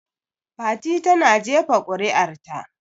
Fati ta na jefa kuri'ar ta